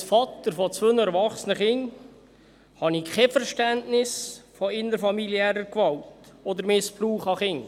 Als Vater zweier erwachsener Kinder habe ich kein Verständnis für innerfamiliäre Gewalt oder Missbrauch von Kindern.